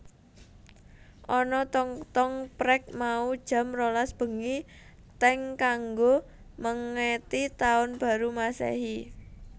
Ana tong tong prek mau jam rolas bengi teng kanggo mengeti taun baru masehi